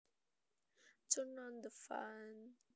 Turn on the fan